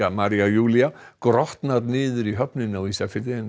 María Júlía grotnar niður í höfninni á Ísafirði en